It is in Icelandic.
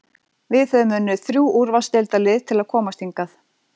Við höfum unnið þrjú úrvalsdeildarlið til að komast hingað.